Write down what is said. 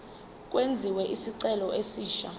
kwenziwe isicelo esisha